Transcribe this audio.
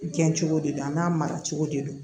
Gɛn cogo de don a n'a mara cogo de don